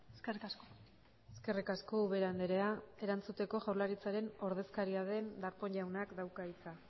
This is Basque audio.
eskerrik asko eskerrik asko ubera andrea erantzuteko jaurlaritzaren ordezkaria den darpón jaunak dauka hitza